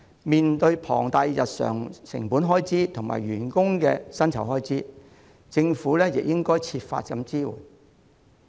面對龐大的日常成本開支及員工的薪酬開支，政府亦應該設法提供支援。